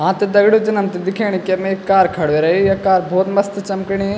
हाँ त दगडियों जन हमथे दिखेण कि यम एक कार खडू ह्वे रइ या कार भौत मस्त चम्कणी।